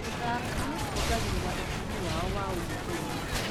Gũthaka kuongagĩrĩra ũtungi wao wa o mũthenya.